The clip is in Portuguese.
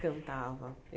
cantava.